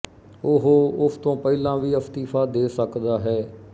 ਉਹ ਉਸ ਤੋਂ ਪਹਿਲਾਂ ਵੀ ਅਸ਼ਤੀਫ਼ਾ ਦੇ ਸਕਦਾ ਹੈ